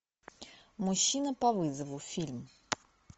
мужчина по вызову фильм